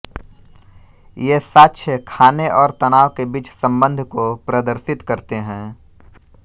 ये साक्ष्य खाने और तनाव के बीच सम्बन्ध को प्रदर्शित करते हैं